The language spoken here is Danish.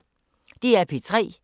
DR P3